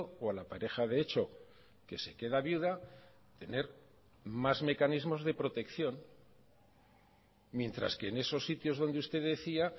o a la pareja de hecho que se queda viuda tener más mecanismos de protección mientras que en esos sitios donde usted decía